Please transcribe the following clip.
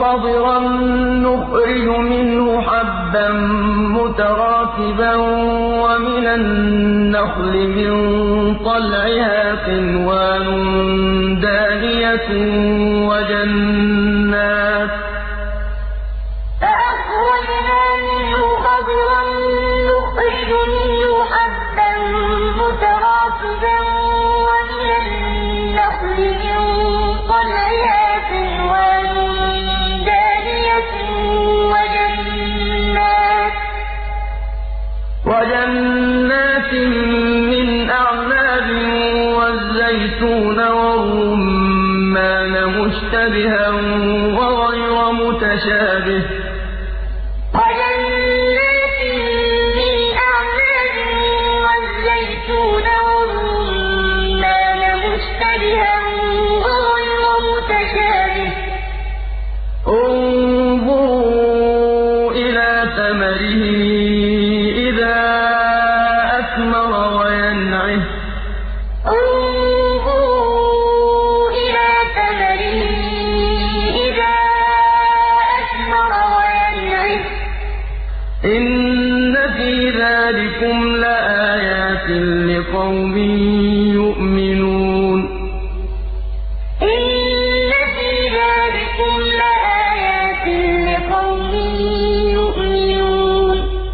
خَضِرًا نُّخْرِجُ مِنْهُ حَبًّا مُّتَرَاكِبًا وَمِنَ النَّخْلِ مِن طَلْعِهَا قِنْوَانٌ دَانِيَةٌ وَجَنَّاتٍ مِّنْ أَعْنَابٍ وَالزَّيْتُونَ وَالرُّمَّانَ مُشْتَبِهًا وَغَيْرَ مُتَشَابِهٍ ۗ انظُرُوا إِلَىٰ ثَمَرِهِ إِذَا أَثْمَرَ وَيَنْعِهِ ۚ إِنَّ فِي ذَٰلِكُمْ لَآيَاتٍ لِّقَوْمٍ يُؤْمِنُونَ وَهُوَ الَّذِي أَنزَلَ مِنَ السَّمَاءِ مَاءً فَأَخْرَجْنَا بِهِ نَبَاتَ كُلِّ شَيْءٍ فَأَخْرَجْنَا مِنْهُ خَضِرًا نُّخْرِجُ مِنْهُ حَبًّا مُّتَرَاكِبًا وَمِنَ النَّخْلِ مِن طَلْعِهَا قِنْوَانٌ دَانِيَةٌ وَجَنَّاتٍ مِّنْ أَعْنَابٍ وَالزَّيْتُونَ وَالرُّمَّانَ مُشْتَبِهًا وَغَيْرَ مُتَشَابِهٍ ۗ انظُرُوا إِلَىٰ ثَمَرِهِ إِذَا أَثْمَرَ وَيَنْعِهِ ۚ إِنَّ فِي ذَٰلِكُمْ لَآيَاتٍ لِّقَوْمٍ يُؤْمِنُونَ